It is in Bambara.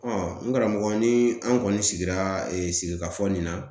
n karamɔgɔ ni an kɔni sigira sigikafɔ nin na